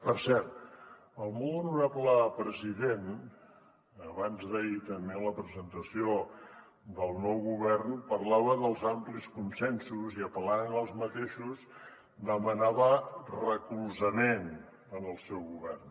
per cert el molt honorable president abansd’ahir també en la presentació del nou govern parlava dels amplis consensos i apel·lant a aquests mateixos demanava recolzament al seu govern